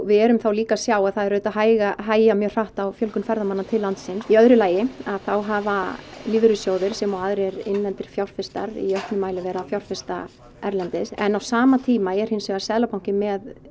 við erum þá líka að sjá að það er auðvitað að hægja hægja mjög á fjölgun ferðamanna til landsins í öðru lagi þá hafa lífeyrissjóðir sem og aðrir innlendir fjárfestar í auknum mæli verið að fjárfesta erlendis en á sama tíma er hins vegar Seðlabankinn með